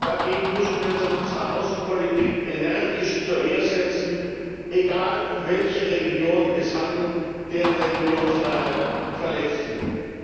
Dagegen müssen wir uns in unserer Außenpolitik energisch zur Wehr setzen, egal, um welche Religion es sich handelt, deren Religionsfreiheit verletzt wird.